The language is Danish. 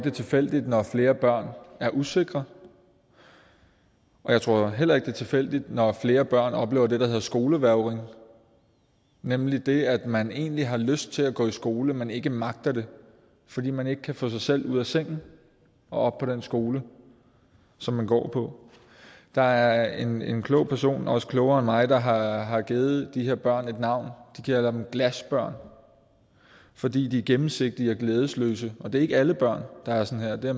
er tilfældigt når flere børn er usikre jeg tror heller ikke det er tilfældigt når flere børn oplever det der hedder skolevægring nemlig det at man egentlig har lyst til at gå i skole men ikke magter det fordi man ikke kan få sig selv ud af sengen og på den skole som man går på der er en en klog person også klogere end mig der har har givet de her børn et navn nemlig glasbørn fordi de er gennemsigtige og glædesløse det er ikke alle børn der er sådan her det